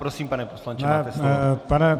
Prosím, pane poslanče, máte slovo.